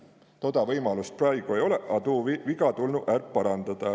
Tuud võimalust praegu olõ-i ja tuu viga tulnu är parandada.